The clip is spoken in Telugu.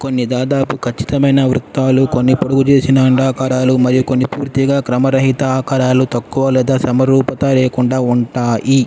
కొన్ని దాదాపు కచ్చితమైన వృత్తాలు కొన్ని పొడుగు చేసిన అండాకారాలు మరియు కొన్ని పూర్తిగా క్రమ రహిత ఆకారాలు తక్కువ లేదా సమరూపత లేకుండా ఉంటాయి.